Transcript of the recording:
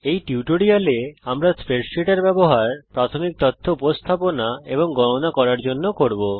এই টিউটোরিয়ালে আমরা স্প্রেডসীটের ব্যবহার প্রাথমিক তথ্য উপস্থাপনা এবং গণনা করার জন্যে করব